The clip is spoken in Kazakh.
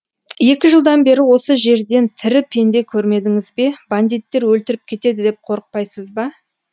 екі жылдан бері осы жерден тірі пенде көрмедіңіз бе бандиттер өлтіріп кетеді деп қорықпайсыз ба